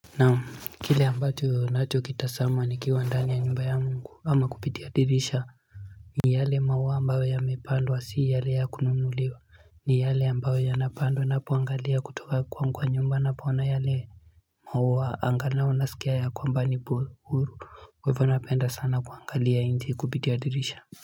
Naam kile ambacho ninachokitazama nikiwa ndani ya nyumba yangu ama kupitia dirisha ni yale maua ambayo yamepandwa si yale ya kunumuliwa, ni yale ambayo yanapandwa nakuangalia kutoka kwa nyumba ninapo ona yale maua angalau nasikia ya kwamba ni buru kwa hivyo napenda sana kuangalia nje kupitia dirisha.